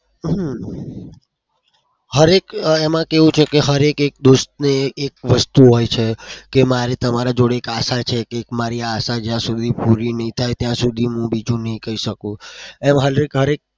હમ હર એક એમાં કેવું છે કે હર એક એક દોસ્તને એક વસ્તુ હોય છે કે મારે તમારી જોડે એક આશા છે કે મારી આ આશા જ્યાં સુધી પૂરી નહી થાય ત્યાં સુધી હું બીજું નહી કઈ શકું.